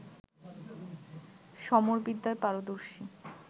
সমরবিদ্যায় পারদর্শী